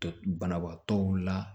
Banabaatɔw la